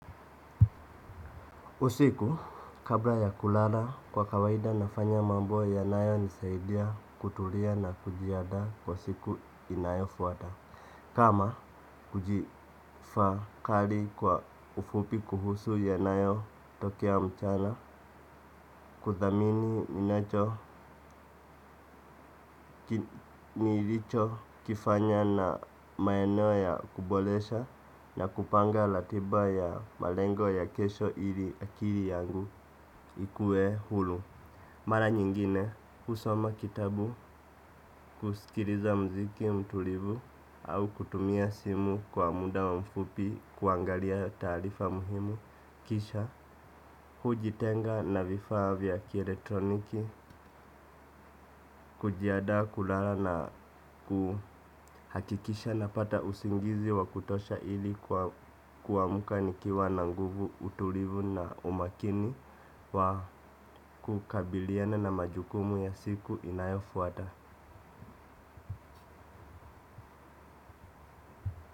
Usiku kabla ya kulala kwa kawaida nafanya mambo yanayo nisaidia kutulia na kujiandaa kwa siku inayo fwata. Kama kujifakari kwa ufupi kuhusu yanayo tokea mchana kuthamini ninacho kifanya na maeneo ya kuboresha na kupanga ratiba ya malengo ya kesho ili akili yangu ikue huru. Mara nyingine kusoma kitabu kusikiliza mziki mtulivu au kutumia simu kwa muda wa mfupi kuangalia taarifa muhimu kisha hujitenga na vifaa vya kieletroniki kujianda kulala na kuhakikisha napata usingizi wa kutosha ili kuamka nikiwa na nguvu utulivu na umakini wa kukabiliana na majukumu ya siku inayofuata.